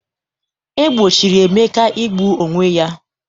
E gbochiri Emeka igbu onwe ya.